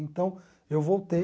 Então, eu voltei.